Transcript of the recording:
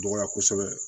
Dɔgɔya kosɛbɛ